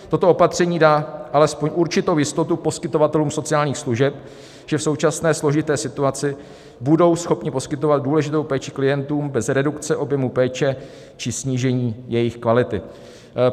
Toto opatření dá alespoň určitou jistotu poskytovatelům sociálních služeb, že v současné složité situaci budou schopni poskytovat důležitou péči klientům bez redukce objemu péče či snížení její kvality.